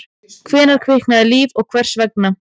Hvenær kviknaði líf og hvers vegna?